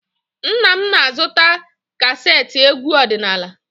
Nna m na-azụta kaseetị egwu ọdịnaala.